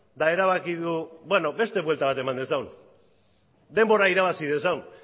eta erabaki du beste buelta bat emango dugu denbora irabazi dezagun